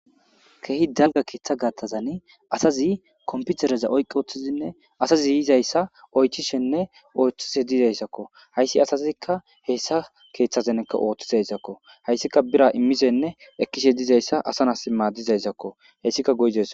Keehi dalga keeththa gattazani asazi komputereza oyqi ooththizinne asazi yizayssa oythishenne oythishe dizayssakko hayssi asazikka heessa keeththazanekka ooththizayssakko hayssika bira immizenne ekkishe dizayssa asana imma dizayssakko hayssika goyzas.